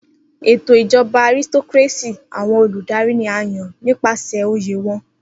Eto ijọba Aristocracy, awọn oludari ni a yan nipasẹ oye wọn